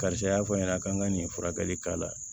Karisa y'a fɔ n ɲɛna k'an ka nin furakɛli k'a la